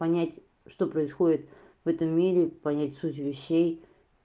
понять что происходит в этом мире понять суть вещей